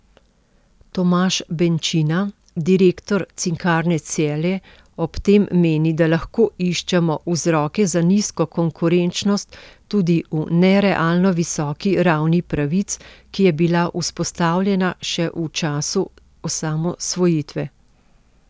Tomaž Benčina, direktor Cinkarne Celje, ob tem meni, da lahko iščemo vzroke za nizko konkurenčnost tudi v nerealno visoki ravni pravic, ki je bila vzpostavljena še v času osamosvojitve.